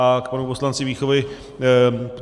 A k panu poslanci Víchovi.